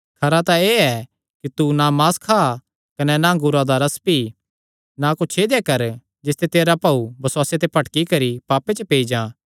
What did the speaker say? खरा तां एह़ ऐ कि तू ना मांस खा कने ना अंगूरा दा रस पी ना कुच्छ ऐदेया कर जिसते तेरा भाऊ बसुआसे ते भटकी करी पापे च पेई जां